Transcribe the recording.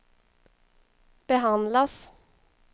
behandlas